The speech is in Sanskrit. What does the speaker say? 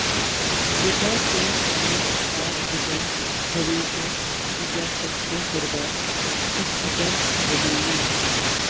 यथा च नस्तात हितं भवेच्च प्रजाश्च सर्वाः सुखिता भवेयुः